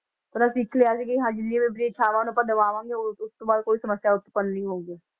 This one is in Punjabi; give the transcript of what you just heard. ਉਹਨਾਂ ਸਿੱਖ ਲਿਆ ਸੀ ਕਿ ਹਾਂਜੀ ਜਿਹੜੀ ਆਪਣੀ ਇਛਾਵਾਂ ਨੂੰ ਆਪਾਂ ਦਬਾਵਾਂਗੇ ਉਹ ਉਸ ਤੋਂ ਬਾਅਦ ਕੋਈ ਸਮੱਸਿਆ ਉਤਪੰਨ ਨੀ ਹੋਊਗੀ।